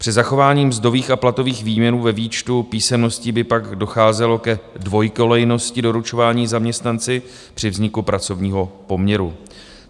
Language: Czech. Při zachování mzdových a platových výměrů ve výčtu písemností by pak docházelo ke dvojkolejnosti doručování zaměstnanci při vzniku pracovního poměru.